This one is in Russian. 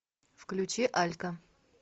включи алька